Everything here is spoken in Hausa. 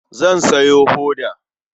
Zan sayo hoda.